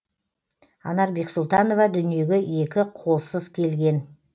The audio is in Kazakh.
анар бексұлтанова дүниеге екі қолсыз келген